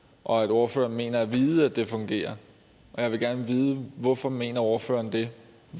og at ordføreren mener at vide at det fungerer og jeg vil gerne vide hvorfor mener ordføreren det